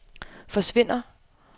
forsvinder